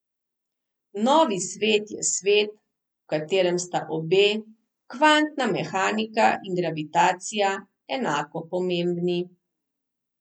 Novi svet je svet, v katerem sta obe, kvantna mehanika in gravitacija, enako pomembni.